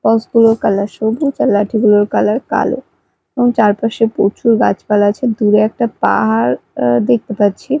Box -গুলোর colour সবুজ আর লাঠিগুলোর কালার কালো এবং চারপাশে প্রচুর গাছপালা আছে দূরে একটা পাহাড় অ্যা দেখতে পাচ্ছি।